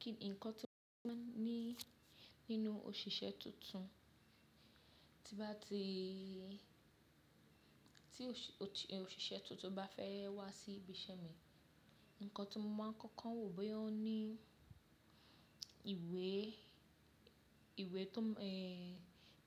Kí ǹkan tí mo máa ń ní nínú òṣìṣẹ́ tuntun, tí bá ti, tí òṣìṣẹ́ tuntun bá fẹ́ wá sí ibi iṣẹ́ mi, ǹkan tí mo máa ń kọ́kọ́ wò boya oo ní ìwé, ìwé tó, ẹ́,